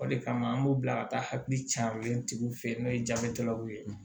O de kama an b'u bila ka taa hakili caaman tigiw fɛ yen n'o ye jabɛtikɛlaw ye